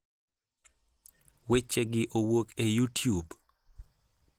Wechegi owuok e: YouTube.